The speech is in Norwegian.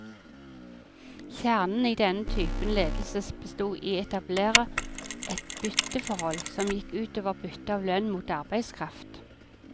Kjernen i denne typen ledelse bestod i å etablere et bytteforhold, som gikk ut over byttet av lønn mot arbeidskraft.